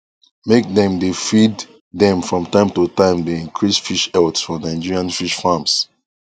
make dem dey feed dem from time to time dey increase fish health for nigerian fish farms